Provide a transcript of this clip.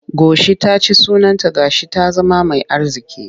Goshi ta ci sunanta ga shi ta zama mai arziƙi.